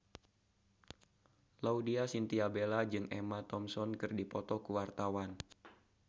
Laudya Chintya Bella jeung Emma Thompson keur dipoto ku wartawan